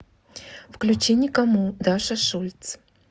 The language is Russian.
включи никому даша шульц